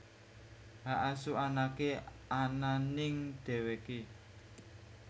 Hak asuh anaké ana ning dheweké